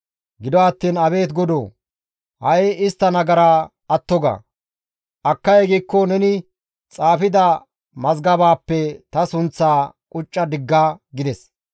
Gido attiin Abeet Godoo! Ha7i istta nagara atto ga; akkay giikko neni xaafida mazgabaappe ta sunththaa qucca digga» gides.